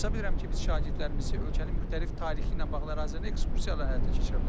Hesab edirəm ki, biz şagirdlərimizi ölkənin müxtəlif tarixi ilə bağlı ərazilərində ekskursiyalar həyata keçirə bilərik.